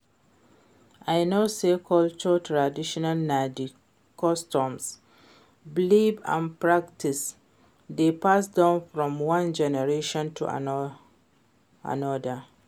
I know say cultural traditions na di customs, beliefs and practices wey pass down from one generation to anoda.